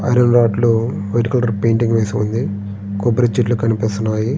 Iron రాడ్లు white colour painting వేసి ఉన్నాయి.